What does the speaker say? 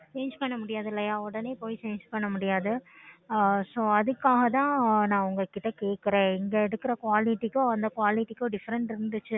so அதுக்காக தான் நான் உங்ககிட்ட கேட்குறான் இங்க எடுக்குற Quality அந்த quality கும் Different இருந்துச்சுன்னா இதைவிட நல்ல Quality ஆஹ் இருந்துச்சுனா நம்ப அங்கேயே அஹ் பரவலா காசு செலவு ஆனாலும் பரவலா நம்ப அங்கேயே வாங்கிக்கலாம்